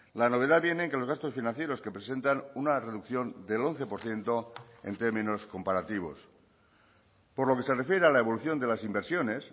la novedad viene en que los gastos financieros que presentan una reducción del once por ciento en términos comparativos por lo que se refiere a la evolución de las inversiones